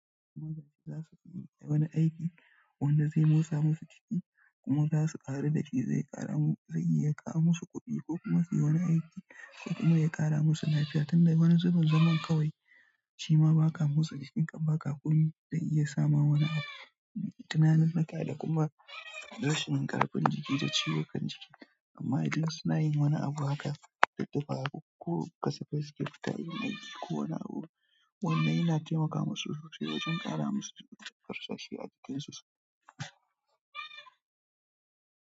Masu zama za su koyi wani aiki wanda zai motsa musu jiki kuma za su ƙaru da shi. Zai iya ƙawo musu kuɗi ko kuma suyi wani aiki ko kuma ya ƙara musu lafiya. Tun da wani zuben zaman kawai shima ba ka motsa jikinka ba komi zai iya sama wani abu. Tunaninuka da kuma rashin ƙarfin jiki da ciwon kan jiki amma idan suna yin wani abu haka da daddafa ko kasafa siket, tayi mai aiki ko wani abu wanda yana taimaka masu sosai wajen ƙara musu farsashi a aikinsu.